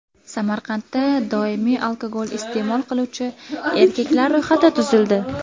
Samarqandda doimiy alkogol iste’mol qiluvchi erkaklar ro‘yxati tuzildi.